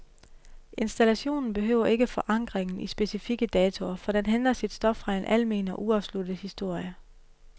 Installationen behøver ikke forankringen i specifikke datoer, for den henter sit stof fra en almen og uafsluttet historie.